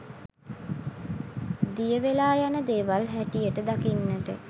දියවෙලා යන දේවල් හැටියට දකින්නට